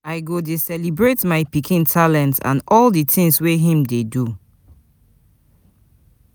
I go dey celebrate my pikin talents and all di things wey him dey do.